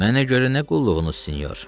Mənə görə nə qulluğunuz, sinyor?